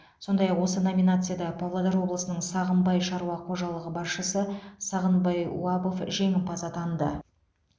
сондай ақ осы номинацияда павлодар облысының сағымбай шаруа қожалығы басшысы сағынбай уабов жеңімпаз атанды